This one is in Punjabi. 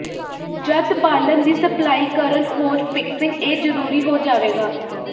ਜਦ ਬਾਲਣ ਦੀ ਸਪਲਾਈ ਕਰਨ ਹੋਜ਼ ਫਿਕਸਿੰਗ ਇਹ ਜ਼ਰੂਰੀ ਹੋ ਜਾਵੇਗਾ